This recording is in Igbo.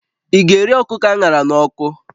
Ị ga-eri ọkụkọ a ṅara n'ọkụ?